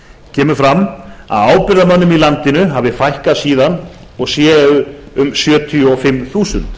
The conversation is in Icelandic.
kemur fram að ábyrgðarmönnum í landinu hafi fækkað síðan og séu um sjötíu og fimm þúsund